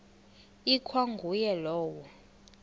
ikwa nguye lowo